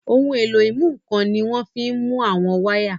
Ohun èlò ìmúnǹkan ni wọ́n fi ń mú àwọn wáyà